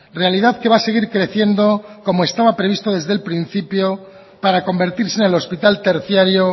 realidad que va a seguir creciendo como estaba previsto desde el principio para convertirse en el hospital terciario